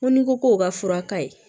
Ko ni ko k'o ka fura ka ɲi